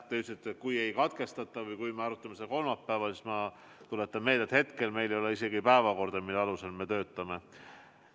Te ütlesite, kui ei katkestata või kui me arutame seda kolmapäeval, aga ma tuletan meelde, et hetkel meil ei ole päevakorda, mille alusel me töötame.